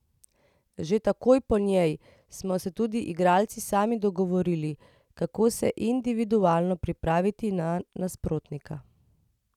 Že takoj po njej smo se tudi igralci sami dogovorili, kako se individualno pripraviti na nasprotnika.